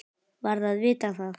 Varð að vita það.